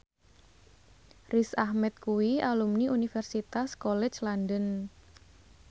Riz Ahmed kuwi alumni Universitas College London